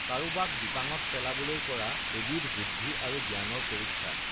কাৰোবাক বিপাঙত পেলাবলৈ কৰা এবিধ বুদ্ধি আৰু জ্ঞানৰ পৰীক্ষা